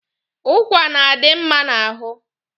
Ụkwa na-adi mma n'ahụ.